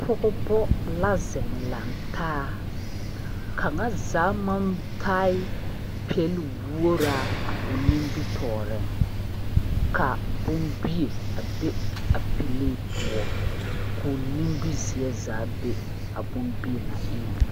Pɔgba la zeng lang taa a kanga zaa mang taa la pelwɔgra ɔ nimitoɔring ka bombie a be a pɛlee puo kuo nimizeɛ zaa be a bombie nga engan.